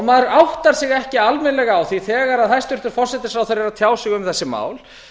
maður áttar sig ekki almennilega á því þegar hæstvirtur forsætisráðherra er að tjá sig um þessi mál